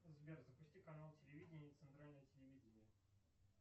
сбер запусти канал телевидения центральное телевидение